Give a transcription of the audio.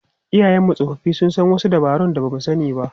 Iyayenmu tsofaffi sun san wasu dabarun da ba mu sani ba.